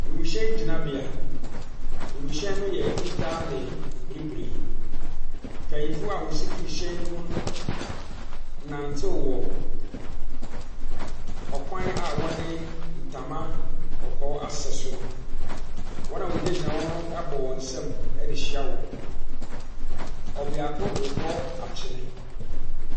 Wimuhyɛn gyinabea. Wimuhyɛn no yɛ fitaa ne bibire. Mpanimfoɔ wɔsi firi hyɛn ne mu no, nantee wɔ kwan a wɔde ntama kɔkɔɔ asɛ soro no. wɔn a wɔgyinagyina hɔ no bɔɔ nsam hyiaa wɔn. Ɔbeako a rebɔ atwene.